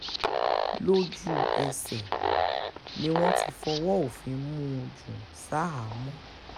lójú-ẹsẹ̀ ni wọ́n ti fọwọ́ òfin mú un jù ṣahámọ́